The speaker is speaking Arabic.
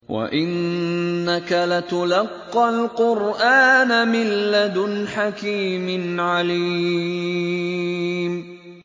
وَإِنَّكَ لَتُلَقَّى الْقُرْآنَ مِن لَّدُنْ حَكِيمٍ عَلِيمٍ